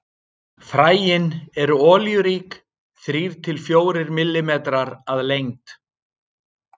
Fræin eru olíurík, þrír til fjórir millimetrar að lengd.